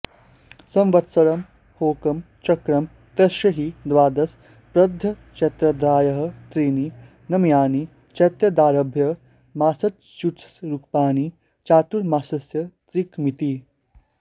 संवत्सरं ह्येकं चक्रं तस्य हि द्वादश प्रधयश्चैत्रादयः त्रीणि नम्यानि चैत्रादारभ्य मासचतुष्करूपाणि चातुर्मास्यत्रिकमिति